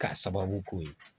K'a sababu k'o ye